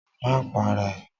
Ma para ẹ!